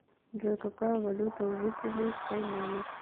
джой какая валюта у жителей кайманов